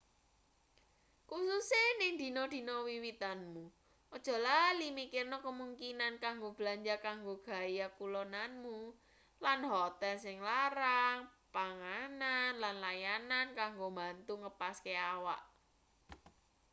kususe ning dina-dina wiwitanmu aja lali mikirne kemungkinan kanggo belanja kanggo gaya-kulonanmu lan hotel sing larang panganan lan layanan kanggo mbantu ngepaske awak